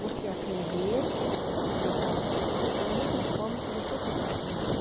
Você atender, respeitar as pessoas da mesma forma que você quer ser atendido.